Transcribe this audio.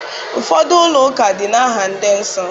Ụfọdụ ụlọụka dị n'aha ndị Nsọ